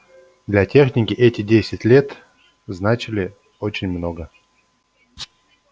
для техники эти десять лет значили очень много